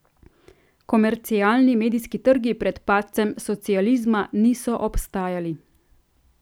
Komercialni medijski trgi pred padcem socializma niso obstajali.